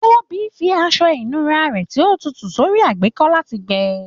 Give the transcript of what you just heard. Tobi fi aṣọ ìnura rẹ ti o tutu sórí àgbékọ́ láti gbẹ.